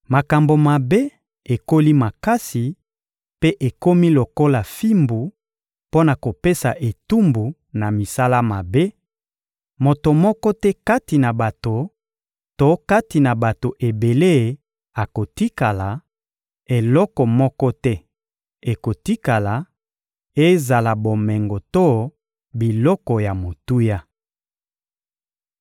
Makambo mabe ekoli makasi mpe ekomi lokola fimbu mpo na kopesa etumbu na misala mabe; moto moko te kati na bato to kati na bato ebele akotikala; eloko moko te ekotikala, ezala bomengo to biloko ya motuya.